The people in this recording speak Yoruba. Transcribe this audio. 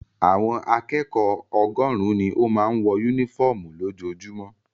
Àwọn akẹ́kọ̀ọ́ ọgọ́rùn-ún ni ó máa ń wọ únífọ́ọ́mù lójoojúmọ́.